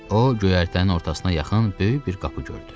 O göyərtənin ortasına yaxın böyük bir qapı gördü.